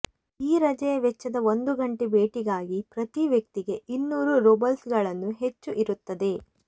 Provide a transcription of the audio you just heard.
ಈ ರಜೆಯ ವೆಚ್ಚದ ಒಂದು ಗಂಟೆ ಭೇಟಿಗಾಗಿ ಪ್ರತಿ ವ್ಯಕ್ತಿಗೆ ಇನ್ನೂರು ರೂಬಲ್ಸ್ಗಳನ್ನು ಹೆಚ್ಚು ಇರುತ್ತದೆ